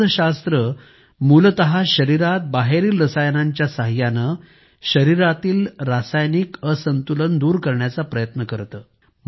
औषधशास्त्र मूलत शरीरात बाहेरील रसायनांच्या सहाय्याने शरीरातील रासायनिक असंतुलन दूर करण्याचा प्रयत्न करते